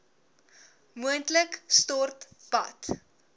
moontlik stort bad